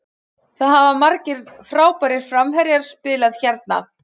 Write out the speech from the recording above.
Það hafa margir frábærir framherjar spilað hérna.